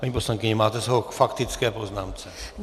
Paní poslankyně, máte slovo k faktické poznámce.